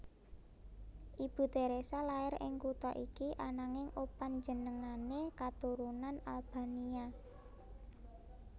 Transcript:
Ibu Theresa lair ing kutha iki ananging opanjenengané katurunan Albania